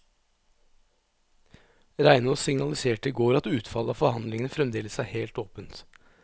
Reinås signaliserte i går at utfallet av forhandlingene fremdeles er helt åpent.